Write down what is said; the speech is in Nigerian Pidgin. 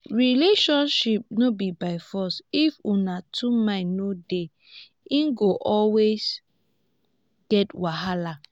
relationship no be by force if una two mind no dey e go always get wahala.